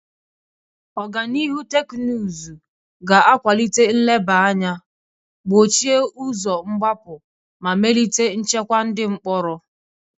Ọganihu teknụzụ ga akwalite nleba anya, gbochie ụzọ mgbapụ, ma melite nchekwa ndị mkpọrọ.